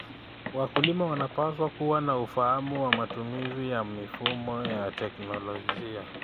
Wakulima wanapaswa kuwa na ufahamu wa matumizi ya mifumo ya teknolojia.